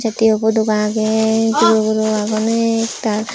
tey tiopodoba agey guro guro agon ektal.